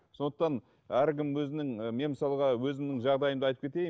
сондықтан әркім өзінің і мен мысалға өзімнің жағдайымды айтып кетейін